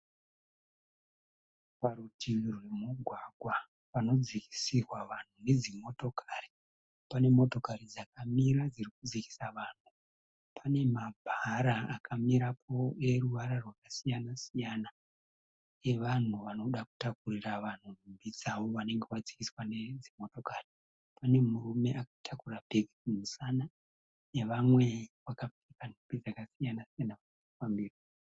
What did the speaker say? Parutivi rwemugwagwa panodzikisirwa vanhu nedzimotokari. Pane motokari dzakamira dzirikudzikisa vanhu. Pane mabhara akamirapo eruvara rwakasiyana-siyana evanhu vanoda kutaurira vanhu nhumbi dzavo vanenge vadzikiswa nedzimotokari. Pane murume akatakura bhegi kumusana nevamwe vakapfeka nhumbi dzakasiyana-siyana pamberi.